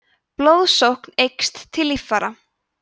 blóðsókn eykst til líffæra